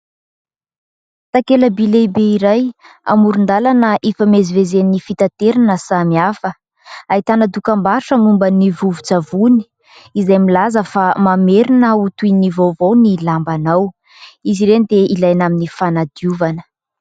Takela- by lehibe iray amoron- dalana ifamezivezen'ny fitaterana samihafa. Ahitana dokam-barotra momba ny vovo- tsavony izay milaza fa mamerina ho toy ny vaovao ny lambanao. Izy ireny dia ilaina amin'ny fanadiovana.